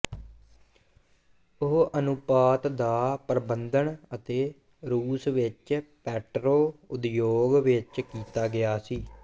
ਉਹ ਅਨੁਪਾਤ ਦਾ ਪਰਬੰਧਨ ਅਤੇ ਰੂਸ ਵਿਚ ਪੈਟਰੋ ਉਦਯੋਗ ਵਿੱਚ ਕੀਤਾ ਗਿਆ ਸੀ